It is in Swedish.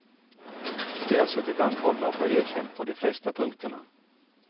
De har suttit anhållna och har erkänt på de flesta punkterna.